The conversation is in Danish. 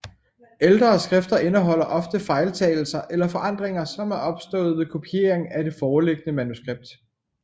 Ældre skrifter indeholder ofte fejltagelser eller forandringer som er opstået ved kopiering af det foreliggende manuskript